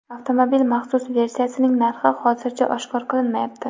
Avtomobil maxsus versiyasining narxi hozircha oshkor qilinmayapti.